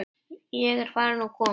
Ég er farin og komin.